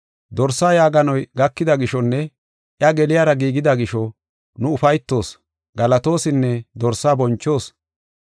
Dorsaa yaaganoy gakida gishonne iya geliyara giigida gisho, nu ufaytoos, galatoosinne Dorsaa bonchoos.